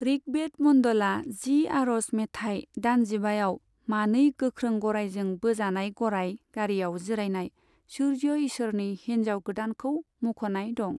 ऋग्वेद मन्डला जि, आरज मेथाइ दानजिबाआव मानै गोख्रों गरायजों बोजानाय गराय गारियाव जिरायनाय सुर्य ईसोरनि हिनजाव गोदानखौ मुंख'नाय दं।